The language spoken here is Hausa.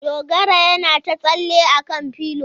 Dogara yana ta tsalle a kan pilo.